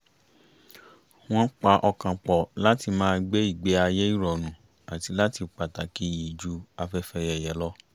wọ́n pa ọkàn pọ̀ láti máa gbé ìgbé-ayé ìrọ̀rùn àti láti pàtàkì iyì ju afẹ́fẹ́yẹ̀yẹ̀ lọ